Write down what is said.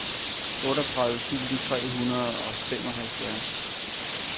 otteogtredive tusind tre hundrede og femoghalvfjerds